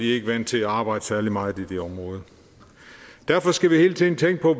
ikke vant til at arbejde særlig meget i det område derfor skal vi hele tiden tænke på